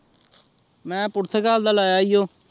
ਮੈ ਪੁਰ੍ਥ੍ਕਲ ਦਾ ਲਾਯਾ ਆਇਯੋ